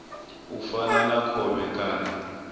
u fana na khovhe kana